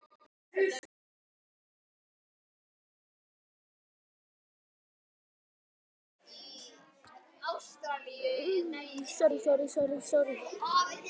eftir Ottó Másson